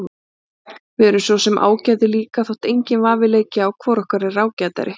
Við erum svo sem ágætir líka þótt enginn vafi leiki á hvor okkar er ágætari.